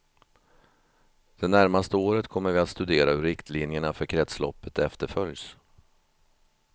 Det närmaste året kommer vi att studera hur riktlinjerna för kretsloppet efterföljs.